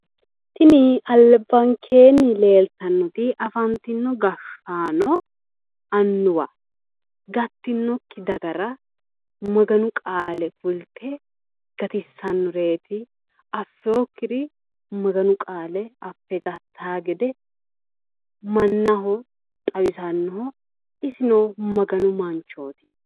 Tini albankeenni leeltannoti afantino gashaano annuwa gattinokki dagara maganu qaale kulte gatissannoreeti affewokkiri maganu qaale affe gattawo gede mannaho xawisannoho isino maganu manchooti